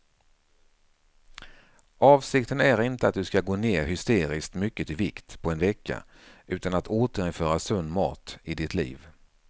Avsikten är inte att du ska gå ner hysteriskt mycket i vikt på en vecka utan att återinföra sund mat i ditt liv.